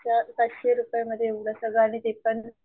च पाचशे रुपये मध्ये एवढं सगळं आणि ते पण,